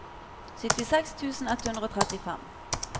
syttiseks tusen ett hundre og trettifem